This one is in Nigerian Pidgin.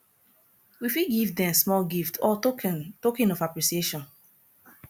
we fit give dem small gift or token token of appreciation